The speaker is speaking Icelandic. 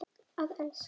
Að elska.